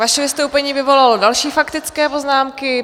Vaše vystoupení vyvolalo další faktické poznámky.